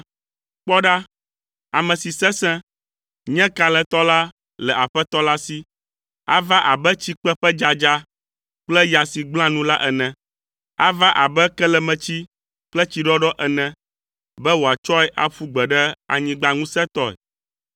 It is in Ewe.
Kpɔ ɖa, ame si sesẽ, nye kalẽtɔ la le Aƒetɔ la si. Ava abe tsikpe ƒe dzadza kple ya si gblẽa nu la ene. Ava abe kelemetsi kple tsiɖɔɖɔ ene, be wòatsɔe aƒu gbe ɖe anyigba ŋusẽtɔe.